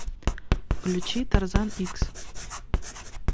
включи тарзан икс